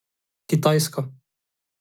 Kitajska.